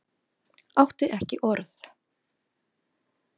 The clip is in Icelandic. Átti ekki orð.